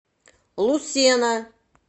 лусена